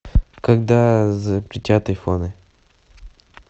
когда запретят айфоны